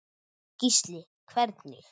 Gísli: Hvernig?